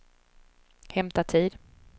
hämta tid